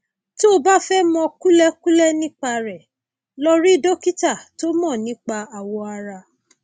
tó o bá fẹ mọ kúlẹkúlẹ nípa rẹ lọ rí dókítà tó mọ nípa awọ ara